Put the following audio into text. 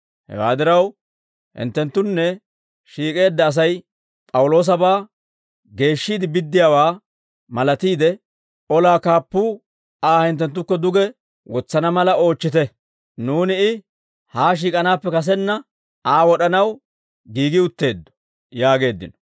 Hewaa diraw, hinttenttunne shiik'eedda Asay P'awuloosabaa geeshshiide biddiyaawaa malatiide, olaa kaappuu Aa hinttenttukko duge wotsana mala oochchite; nuuni I haa shiik'anaappe kasenna Aa wod'anaw giigi utteeddo» yaageeddino.